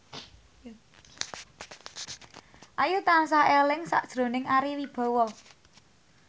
Ayu tansah eling sakjroning Ari Wibowo